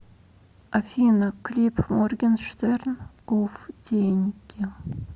афина клип моргенштерн уфф деньги